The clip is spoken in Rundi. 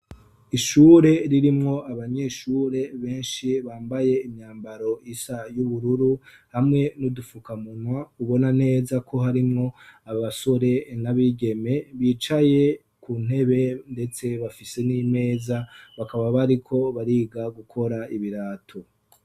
Ishure ririmwo abanyeshure benshi bambaye imyambaro isa y'ubururu hamwe n'udufukamunwa ubona neza ko harimwo abasore n'abigeme bicaye ku ntebe ndetse bafise n'imeza bakaba bariko bariga gukora ibirato.